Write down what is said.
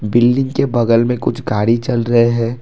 Building के बगल में कुछ गाड़ी चल रहे हैं।